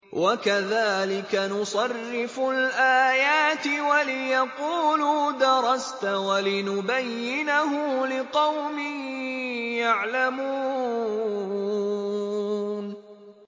وَكَذَٰلِكَ نُصَرِّفُ الْآيَاتِ وَلِيَقُولُوا دَرَسْتَ وَلِنُبَيِّنَهُ لِقَوْمٍ يَعْلَمُونَ